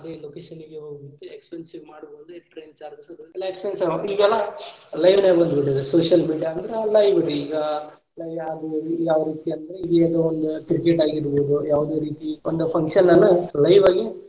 ಅದೇ location ಗೆ ಹೋಗಿ expensive ಮಾಡಬಹುದು train charges ಅದ ಎಲ್ಲಾ expensive ಈಗೆಲ್ಲಾ live ನಾಗ ಬಂದಬಿಟ್ಟೇತಿ social media ಅಂದ್ರ live ರೀ ಇಗ ಈಗ ಯಾವ ರೀತಿ ಅಂದ್ರ ಈಗ ಒಂದ್ cricket ಆಗಿರಬಹುದು ಯಾವದೇ ರೀತಿ ಒಂದ function ನ್ನ live ಆಗಿ.